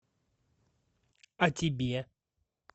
а тебе